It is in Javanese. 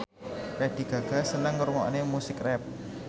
Lady Gaga seneng ngrungokne musik rap